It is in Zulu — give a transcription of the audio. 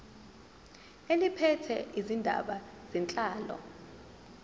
eliphethe izindaba zenhlalo